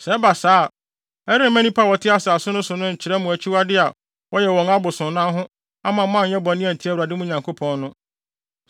Sɛ ɛba saa a, ɛremma nnipa a wɔte asase no so no nkyerɛ mo akyiwade a wɔyɛ wɔ wɔn abosonsom ho amma mo anyɛ bɔne antia Awurade, mo Nyankopɔn no.